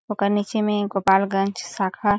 ओकर निचे में गोपालगंज शाखा--